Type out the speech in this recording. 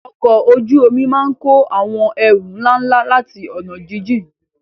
Ọkọ̀ ojú omi máa ń kó àwọn ẹrù ńlá ńlá láti ọ̀nà jíjìn.